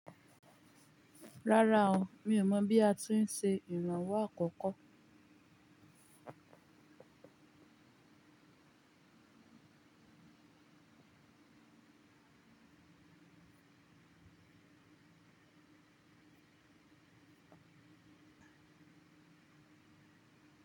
Rárá o, mi ò mọ̀ bí a ti ń se ìrànwọ́ àkọ́kọ́.